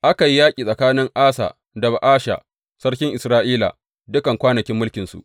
Aka yi yaƙi tsakanin Asa da Ba’asha sarkin Isra’ila dukan kwanakin mulkinsu.